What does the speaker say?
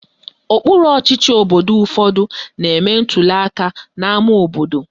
Okpuru ọchịchị obodo ụfọdụ na-eme ntuliaka n'ama obodo